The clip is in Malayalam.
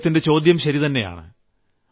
അദ്ദേഹത്തിന്റെ ചോദ്യം ശരിതന്നെയാണ്